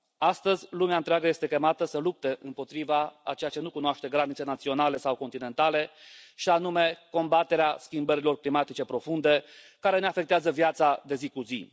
Astăzi lumea întreagă este chemată să lupte împotriva a ceea ce nu cunoaște granițe naționale sau continentale, și anume combaterea schimbărilor climatice profunde care ne afectează viața de zi cu zi.